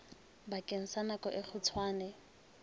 bakeng sa nako e kgutshwane